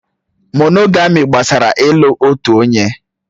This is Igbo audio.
Mónógamị́ gbasara ị́lu otu onye.